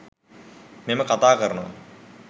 මම කතාකරනවා.